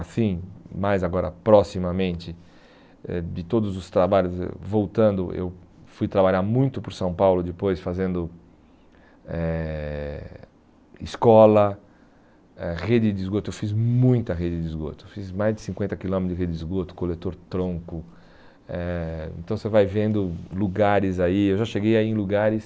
assim, mais agora, proximamente, eh de todos os trabalhos, eh voltando, eu fui trabalhar muito por São Paulo depois, fazendo eh escola, eh rede de esgoto, eu fiz muita rede de esgoto, fiz mais de cinquenta quilômetros de rede de esgoto, coletor-tronco, eh então você vai vendo lugares aí, eu já cheguei aí em lugares